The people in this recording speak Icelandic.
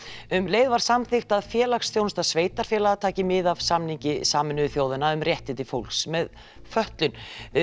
um leið var samþykkt að félagsþjónusta sveitarfélaga taki mið af samningi Sameinuðu þjóðanna um réttindi fólks með fötlun